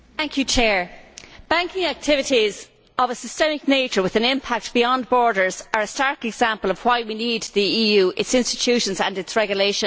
Mr President, banking activities of a systemic nature with an impact beyond borders are a stark example of why we need the EU, its institutions and its regulations.